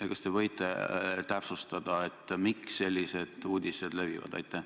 Ja kas te võite täpsustada, miks sellised uudised levivad?